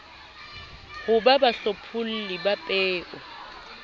ho ba bahlopholli ba peo